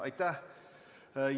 Aitäh!